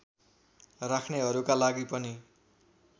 राख्नेहरूका लागि पनि